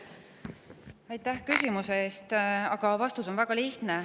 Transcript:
Aitäh küsimuse eest, aga vastus on väga lihtne.